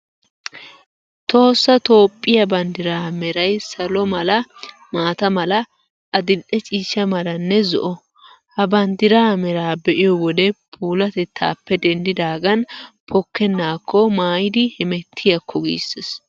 Tohossa Toophphiyaa banddiraa meray salo mala, maata mala, adil''e ciishsha malanne zo'o. Ha banddiraa meraa be'iyo wode puulaatettaappe denddidaagan pokkennaakko maayidi hemettiyaakko giissees.